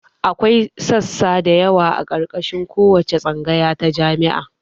Akwai sassa dayawa a ƙarƙashin kowace tsangaya ta jami'a